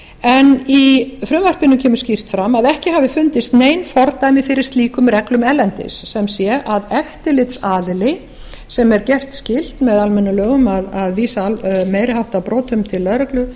en í frumvarpinu kemur skýrt fram að ekki hafi fundist nein fordæmi fyrir slíkum reglum erlendis sem sé að eftirlitsaðili sem er gert skylt með almennum lögum að vísa meiri háttar brotum til lögreglu